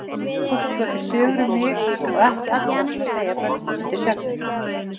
Fólk bjó til sögur um mig og ekki allar til að segja börnum undir svefninn.